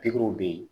Pikiriw bɛ yen